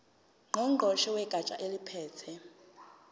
ngqongqoshe wegatsha eliphethe